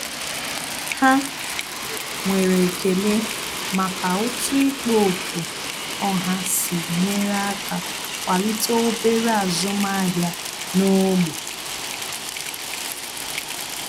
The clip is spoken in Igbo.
Há nwere ekele màkà otú ikpo okwu ọha sí nyere aka kwalite obere ázụ́màhị́à n’ógbè.